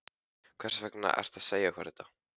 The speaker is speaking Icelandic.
Hvers vegna ertu að segja okkur þetta?